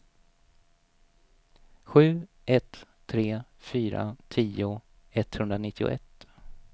sju ett tre fyra tio etthundranittioett